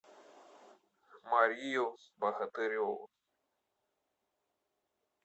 марию богатыреву